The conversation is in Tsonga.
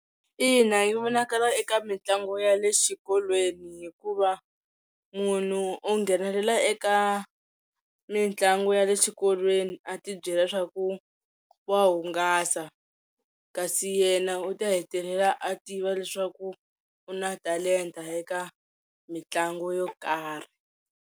Ina yi vonakala eka mitlangu ya le xikolweni hikuva munhu o nghenelela eka mitlangu ya le xikolweni a ti byela swaku wa hungasa kasi yena u ta hetelela a tiva leswaku u na talenta eka mitlangu yo karhi,